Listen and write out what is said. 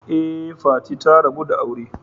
Ee, Fati ta rabu da aure.